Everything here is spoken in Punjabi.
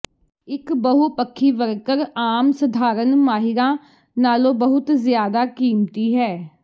ਇਕ ਬਹੁਪੱਖੀ ਵਰਕਰ ਆਮ ਸਧਾਰਣ ਮਾਹਿਰਾਂ ਨਾਲੋਂ ਬਹੁਤ ਜ਼ਿਆਦਾ ਕੀਮਤੀ ਹੈ